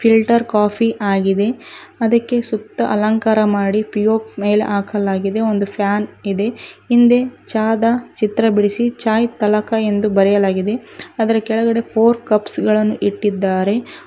Filter coffee ಆಗಿದೆ ಅದಕ್ಕೆ ಸುತ್ತ ಅಲಂಕಾರ ಮಾಡಿ ಪಿಒಪ್ ಮೇಲೆ ಹಾಕಲಾಗಿದೆ ಒಂದು ಫ್ಯಾನ್ ಇದೆ ಹಿಂದೆ ಚಾ ದ ಚಿತ್ರ ಬಿಡಿಸಿ ಚಾಯ್ ತಲಕ ಎಂದು ಬರೆಯಲಾಗಿದೆ ಅದರ ಕೆಳಗೆ ಫೋರ್ ಕಪ್ಸ್ ಗಳನ್ನು ಇಟ್ಟಿದ್ದಾರೆ.